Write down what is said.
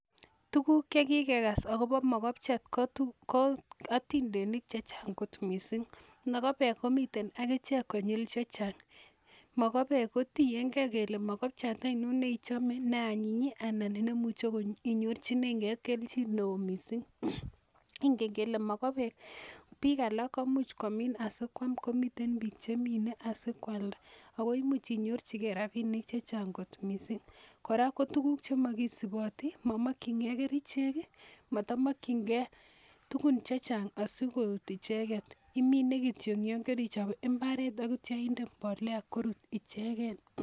Tukuk chekikekas akobo mokopchat ko atindonik chechang kot mising. Mokobek komitei akichek konyil chechang. Mokobek kotiengei kele mokobchat aino neichame ne anyiny anan neimuchei inyorchinegei keljin neo mising. Kingen kelemokobek, biik alak komuch komin asikoam ko miten biik cheminei asikoalda. Akoimuch inyorchigei rabinik chechang kot mising. Kora kotukuk chemakisipati, mamokchingei kerichek matamokchingei tukun chechang asikoet icheket. Imine kitio yon karichop mbaret aneitio inde mbolea korut ichegei.